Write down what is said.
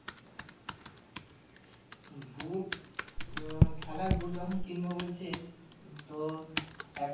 boot আহ খেলার boot যখন কিনবো বলছিস তো এক